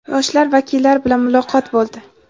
yoshlar vakillari bilan muloqot bo‘ldi.